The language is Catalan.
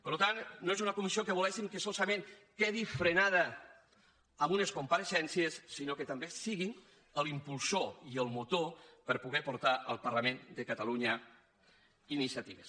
per tant no és una comissió que volguéssim que solament quedi frenada amb unes compareixences sinó que també sigui l’impulsor i el motor per poder portar al parlament de catalunya iniciatives